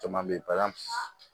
Caman be ye